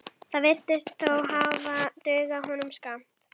Þetta virðist þó hafa dugað honum skammt.